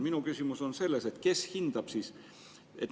Minu küsimus on selles, kes seda hindab.